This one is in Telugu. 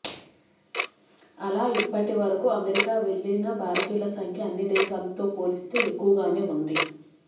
అలా ఇప్పటి వరకూ అమెరికాకి వెళ్ళిన భారతీయుల సంఖ్య అన్ని దేశాలతో పోల్చితే ఎక్కువగానే ఉంది